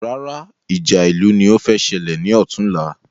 Rárá ìjà ìlú ní o fẹ́ ṣẹlẹ̀ ni ọ̀túnla